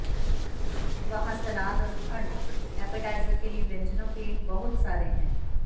वहाँ सलाद और ठंड ऐपेटाइज़र के लिए व्यंजनों के बहुत सारे हैं